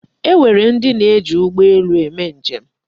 E nwere ndị na-eji ụgbọ elu eme njem.